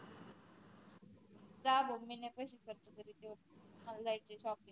जा बाबा मी नाही पैसे खर्च करीत मला जायचय shopping